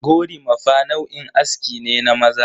Gorimafa nau'in aske ne na maza.